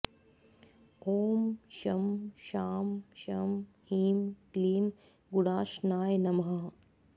ॐ शं शां षं ह्रीं क्लीं गुडाशनाय नमः